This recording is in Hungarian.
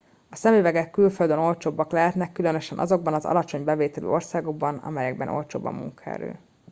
a szemüvegek külföldön olcsóbbak lehetnek különösen azokban az alacsony bevételű országokban amelyekben olcsóbb a munkaerő